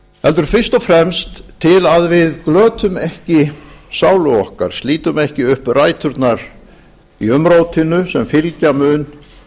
heldur fyrst og fremst til að við glötum ekki sálu okkar slítum ekki upp ræturnar í umrótinu sem fylgja mun